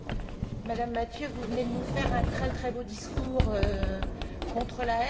Madame Mathieu, vous venez de nous faire un très beau discours contre la haine.